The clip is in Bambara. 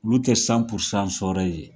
Olu tɛ sɔnrayi ye